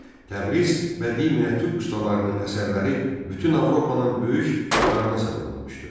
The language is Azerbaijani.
Təbriz bədii miniatür ustalarının əsərləri bütün Avropanın böyük marağına səbəb olmuşdu.